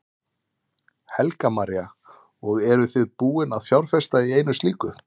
Helga María: Og eruð þið búin að fjárfesta í einu slíku?